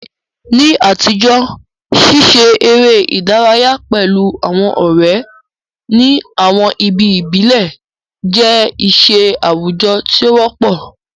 Ní àtijọ́, ṣíṣe eré ìdárayá pẹ̀lú àwọn ọ̀rẹ́ ní àwọn ibi ìbílẹ̀ jẹ́ iṣẹ́ àwùjọ tí ó wọ́pọ̀.